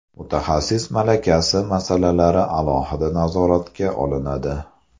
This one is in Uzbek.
Mutaxassis malakasi masalalari alohida nazoratga olinadi.